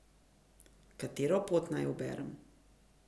Katero pot naj uberem?